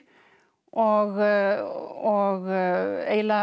og eiginlega